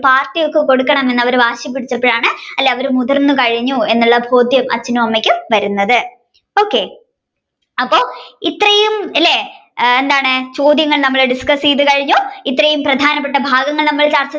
Party ഒക്കെ കൊടുക്കണം എന്ന് വാശിപിടിച്ചപ്പോഴാണ് അല്ലെ അവർ മുതിർന്ന് കഴിഞ്ഞു എന്നുള്ള ബോധ്യം അച്ഛനും അമ്മയ്ക്കും വരുന്നത്. ok അപ്പൊ ഇത്രയും അല്ലെ എന്താണ് ചോദ്യങ്ങൾ നമ്മൾ discuss ചെയ്തു കഴിഞ്ഞു ഇത്രയും പ്രധാനപ്പെട്ട ഭാഗങ്ങൾ നമ്മൾ